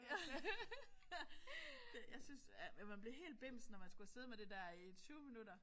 Ja. Det jeg synes jeg ja man bliver helt bims når man skulle sidde med det der i 20 minutter